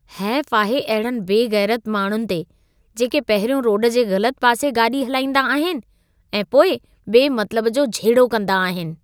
हेफ़ आहे अहिड़नि बेग़ैरति माण्हुनि ते जेके पहिरियों रोड जे ग़लत पासे गाॾी हलाईंदा आहिनि ऐं पोइ बेमतिलब जो झेड़ो कंदा आहिनि।